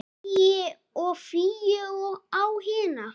Ægi og Fíu á hina.